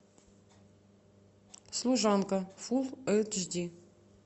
служанка фул эйч ди